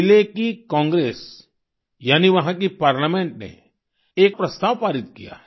चिले की कांग्रेस यानी वहाँ की पार्लामेंट ने एक प्रस्ताव पारित किया है